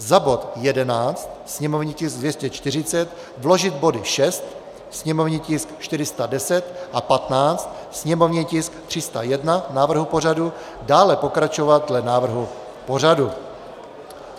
Za bod 11, sněmovní tisk 240, vložit body 6, sněmovní tisk 410, a 15, sněmovní tisk 301, návrhu pořadu, dále pokračovat dle návrhu pořadu.